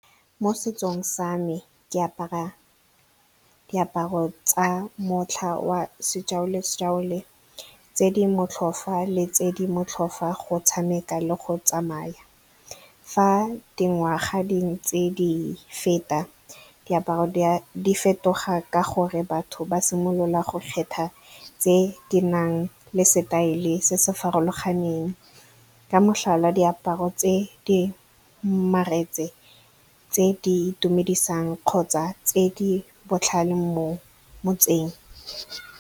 Mo setsong sa me ke apara diaparo tsa motlha wa tse di motlhofa le tse di motlhofa go tshameka le go tsamaya. Fa dingwaga dingwe tse di feta, diaparo di fetoga ka gonne batho ba simolola go kgetha tse di nang le setaele se se farologaneng. Ka motlhala, diaparo tse di , tse di itumedisang kgotsa tse di botlhale mo motseng.